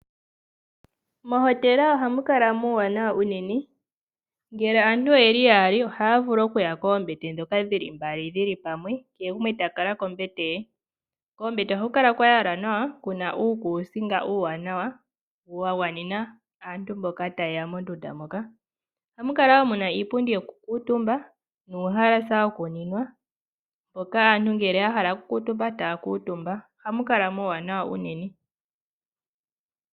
Mohotela ohamu kala muwanawa unene ngele aantu oye li yali ohaya vulu okuya koombete dhoka dhili mbali dhili pamwe, kehe gumwe ta kala kombete ye. Koombete oha ku kala kwa yalwa nawa, kuna uukusinga uuwanawa wagwa nena aantu mboka ta yeya mondunda moka. Ohamu kala muna iipundi yoku kutumba nuuhalasa woku ninwa mpoka aantu ngele ya hala oku kutumba taya kutumba nohamu kala muwanawa unene.